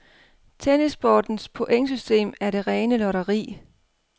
Tennissportens pointsystem er det rene lotteri.